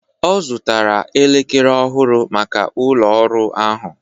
Ọ zụtara elekere ọhụrụ maka ụlọ ọrụ ahụ